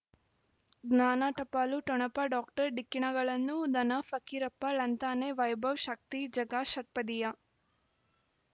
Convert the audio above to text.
ಜ್ಞಾನ ಟಪಾಲು ಠೊಣಪ ಡಾಕ್ಟರ್ ಢಿಕ್ಕಿ ಣಗಳನು ಧನ ಫಕೀರಪ್ಪ ಳಂತಾನೆ ವೈಭವ್ ಶಕ್ತಿ ಝಗಾ ಷಟ್ಪದಿಯ